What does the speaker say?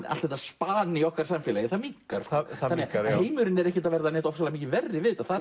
allt þetta span í okkar samfélagi það minnkar þannig að heimurinn er ekkert að verða verri við þetta það